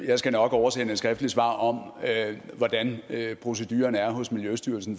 jeg skal nok oversende et skriftligt svar om hvordan proceduren er hos miljøstyrelsen